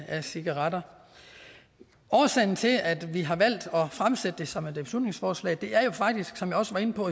af cigaretter årsagen til at vi har valgt at fremsætte det som et beslutningsforslag er faktisk som jeg også var inde på